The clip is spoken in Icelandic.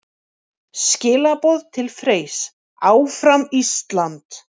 Skilaboð til Freys: Áfram Ísland!